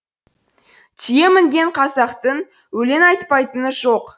түйе мінген қазақтың өлең айтпайтыны жоқ